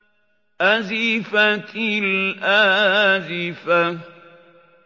أَزِفَتِ الْآزِفَةُ